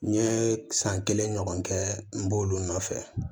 N ye san kelen ɲɔgɔn kɛ n b'olu nɔfɛ